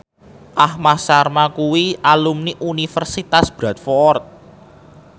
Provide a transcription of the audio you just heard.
Aham Sharma kuwi alumni Universitas Bradford